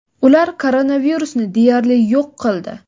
ular koronavirusni deyarli yo‘q qildi.